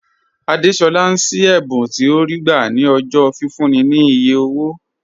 Àdésolá ń ṣí ẹ̀bùn tí ó rí gbà ní ọjọ́ fífúnni ní iye owó